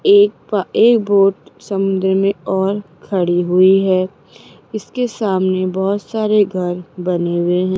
एक बा एक बोट समुद्र में और खड़ी हुई है इसके सामने बहुत सारे घर बने हुए हैं।